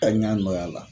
Taa ɲɛ nɔ a la